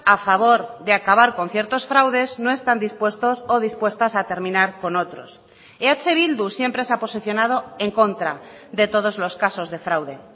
a favor de acabar con ciertos fraudes no están dispuestos o dispuestas a terminar con otros eh bildu siempre se ha posicionado en contra de todos los casos de fraude